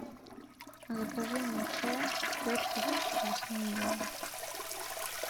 закажи мне чай кертис лесные ягоды